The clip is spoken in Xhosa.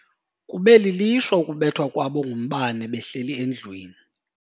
Kube lilishwa ukubethwa kwabo ngumbane behleli endlwini.